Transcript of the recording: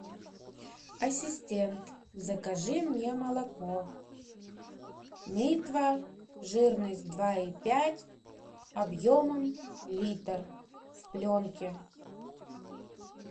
ассистент закажи мне молоко литва жирность два и пять объемом литр в пленке